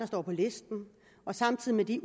står på listen og samtidig